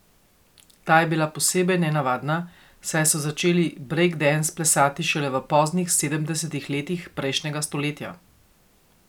Ta je bila posebej nenavadna, saj so začeli brejkdens plesati šele v poznih sedemdesetih letih prejšnjega stoletja.